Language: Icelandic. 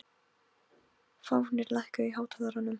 Fáfnir, lækkaðu í hátalaranum.